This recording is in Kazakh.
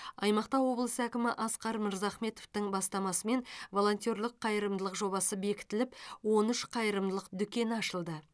аймақта облыс әкімі асқар мырзахметовтің бастамасымен волонтерлік қайырымдылық жобасы бекітіліп он үш қайырымдылық дүкені ашылды